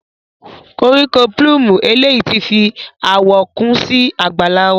Koriko plume eleyi ti fi awọ kun si àgbàlá wa.